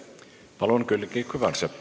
Palun, Külliki Kübarsepp!